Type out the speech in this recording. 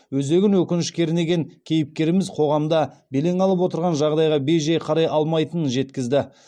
өзегін өкініш кернеген кейіпкеріміз қоғамда белең алып отырған жағдайға бей жай қарай алмайтынын жеткізді